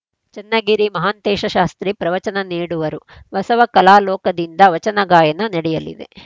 ಚನ್ನಗಿರಿ ಮಹಾಂತೇಶ ಶಾಸ್ತ್ರಿ ಪ್ರವಚನ ನೀಡುವರು ಬಸವ ಕಲಾಲೋಕದಿಂದ ವಚನ ಗಾಯನ ನಡೆಯಲಿದೆ